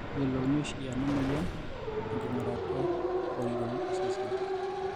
keyiolouni oshi ena moyian tenking'urata e oriong' osesen.